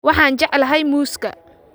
waxaan jeclahay muuska